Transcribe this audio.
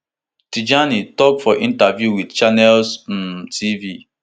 tijani tok for interview wit channels um tv